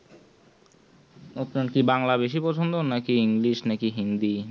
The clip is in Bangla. আপনার কি বাংলা বেশি পছন্দ নাকি english নাকি হিন্দি